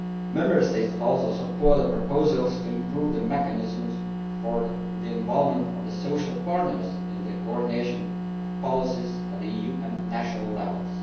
Member States also support the proposals to improve the mechanisms for involving social partners in the coordination of policies at EU and national levels.